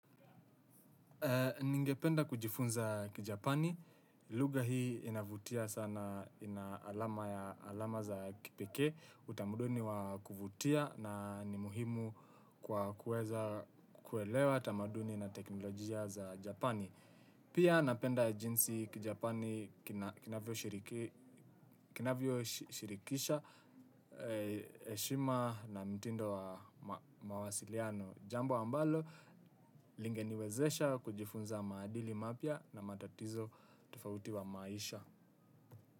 Ningependa kujifunza, Kijapani. Lugha hii inavutia sana na ina alama za kipekee, utamaduni wa kuvutia na ni muhimu kwa kuweza kuelewa tamaduni na teknolojia za Japani. Pia, napenda jinsi kijapani kinavyo shirikisha, heshima na mtindo wa mawasiliano. Jambo ambalo, lingeniwezesha kujifunza maadili mapya na matatizo tofauti wa maisha.